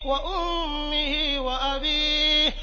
وَأُمِّهِ وَأَبِيهِ